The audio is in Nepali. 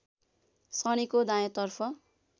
शनिको दायाँतर्फ